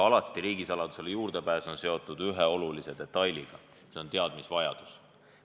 Aga riigisaladusele juurdepääs on alati seotud ühe olulise detailiga, see on teadmisvajadus.